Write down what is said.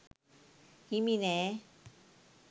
හිමි නෑ.